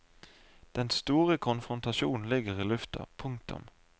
Den store konfrontasjonen ligger i lufta. punktum